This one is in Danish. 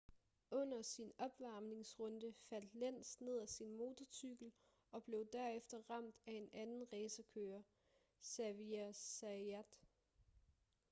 under sin opvarmningsrunde faldt lenz ned af sin motorcykel og blev derefter ramt af en anden racerkører xavier zayat